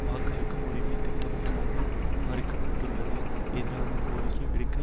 வாக்களிக்கும் உரிமைகள் திட்டவட்டமாக மறுக்கப்பட்டிருப்பதற்கு எதிராக கோரிக்கை விடுக்க